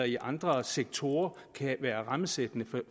i andre sektorer kan være rammesættende